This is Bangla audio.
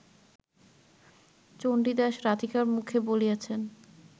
চণ্ডীদাস রাধিকার মুখে বলিয়াছেন